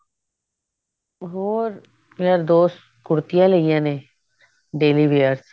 ਹੋਰ ਮੇਰਾ ਦੋਸਤ ਕੁੜਤੀਆਂ ਲਈਆਂ ਨੇ daily wears